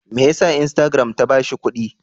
Me ya sa instagram ta ba shi kuɗi?